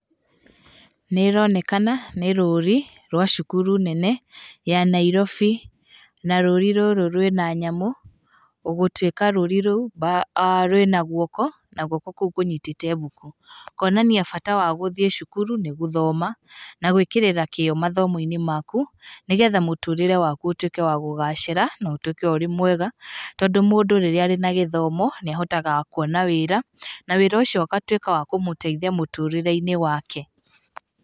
Nĩ ĩronekana nĩ rũũri rwa cukuru nene ya Nairobi. Na rũũri rũrũ rwĩna nyamũ gũtuĩka rũũri rũu rwĩna guoko na guoko kũu kũnyitite mbuku. Kuonania bata wa gũthiĩ cukuru nĩ gũthoma na gwĩkĩrĩra kĩyo mathomo-inĩ maku, nĩgetha mũtũrĩre waku ũtuĩke wa kũgacĩra, na ũtuĩke ũrĩ mwega, tondũ mũndũ rĩrĩa arĩ na gĩthomo nĩ ahotaga kuona wĩĩra, na wĩra ũcio ũgatuĩka wa kũmũteithia mũtũrĩre-inĩ wake.